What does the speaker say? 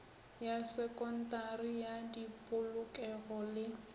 ya sekontari ya dipolokelo le